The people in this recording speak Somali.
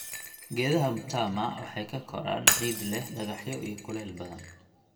Geedaha mtama waxay ka koraan ciid leh dhagaxyo iyo kuleyl badan.